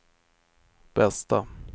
bästa